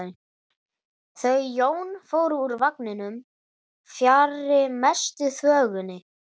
Þau Jón fóru úr vagninum fjarri mestu þvögunni.